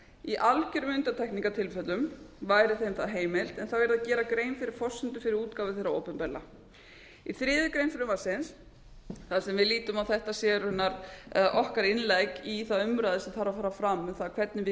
í algjörum undantekningartilfellum væri þeim þaðheimilt en þá yrði að gera grein fyrir forsendu fyrir útgáfu þeirra opinberlega í þriðju greinar frumvarpsins þar sem við lítum á að þetta sé raunar eða okkar innlegg í þá umræðu sem þarf að fara fram um það hvernig við